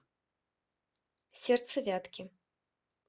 сердце вятки